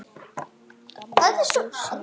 Gamla húsinu.